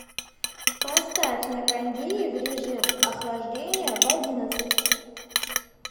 поставь на кондее в режим охлаждения в одиннадцать